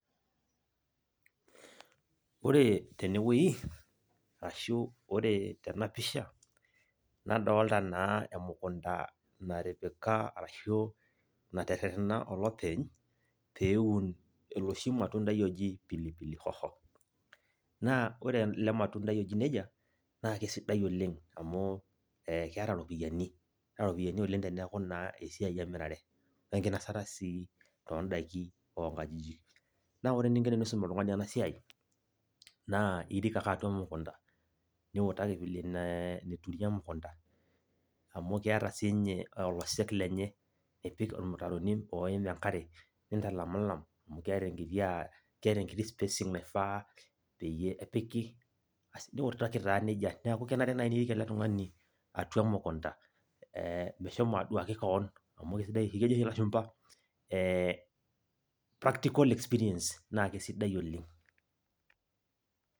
Ore tenewoi, ashu ore tenapisha, nadolta naa emukunda natipika arashu naterrerrena olopeny peun oloshi matundai oji pilipili hoho. Naa ore ele matundai oji nejia, na kesidai oleng amu, keeta ropiyaiani. Keeta ropiyaiani oleng teneeku naa esiai emirare. Enkinasata sii odaiki onkajijik. Na ore eninko teniisum oltung'ani enasiai, naa irik ake atua emukunda, niutaki vile neturi emukunda, amu keeta sinye olosek lenye, nipik irmutaroni oim enkare, nintalamilam, amu keeta enkiti spacing naifaa peyie epiki, basi niutaki taa nejia, neeku kenare nai nirik ele tung'ani atua emukunda, meshomo aduaki keon, amu kesidai kejo oshi lashumpa practical experience naa kesidai oleng.